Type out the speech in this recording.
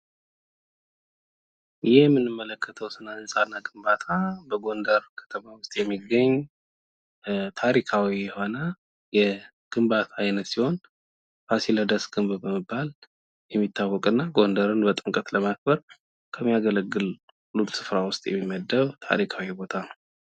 ይህ የምንመለከተዉ ስነ ህንፃ እና ግንባታ በጎንደር የሚገኝ ታሪካዊ የሆነ የግንባታ አይነት ሲሆን ፋሲለደስ ግንብ የሚባል ታሪካዊ ህንፃ ነው ።ጥምቀትን ለማክበር የሚያገለግል ታሪካዊ ስፍራ ነው ።